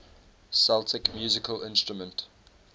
celtic musical instruments